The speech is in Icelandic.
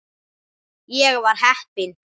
Ég var heppin.